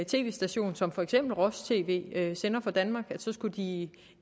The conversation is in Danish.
tv station som for eksempel roj tv sender fra danmark skulle de i